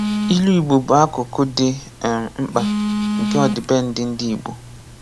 Ilu Igbo bụ akụkụ dị um mkpa nke ọdịbendị ndị Igbọ.